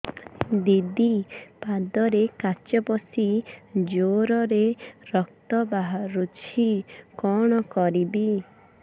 ଦିଦି ପାଦରେ କାଚ ପଶି ଜୋରରେ ରକ୍ତ ବାହାରୁଛି କଣ କରିଵି